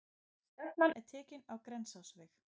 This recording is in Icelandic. Stefnan er tekin á Grensásveg.